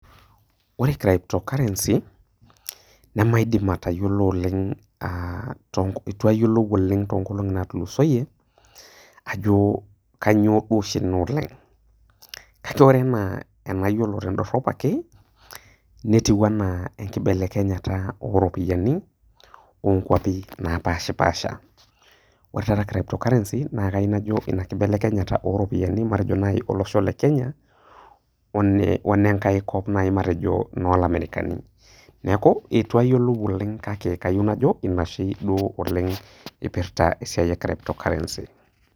Ore Crypto Currency nemaidim atayiolou oleng' eitu ayiolou oleng' to inoolong'i naatulusoiye, ajo kainyoo dooshi Ina oleng' kake ore enayiolo tendorop ake netiu anaa enkibelekenya o iropiani o nkwapi napaashi pasha. Ore taata crypto currency nakayiou najo Ina keibelekenya oropiani matejo naaji olosho le Kenya o ne nenkai kop matejo naaji ilamaerikani. Neaku mayiolo sii duo oleng' neaku ayou najo Ina sii duo eipirta oleng' esiai e crypto currency.